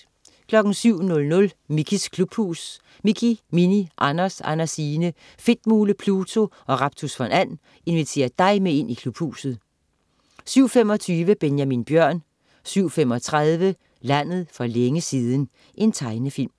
07.00 Mickeys klubhus. Mickey, Minnie, Anders, Andersine, Fedtmule, Pluto og Raptus von And inviterer dig med ind i Klubhuset 07.25 Benjamin Bjørn 07.35 Landet for længe siden. Tegnefilm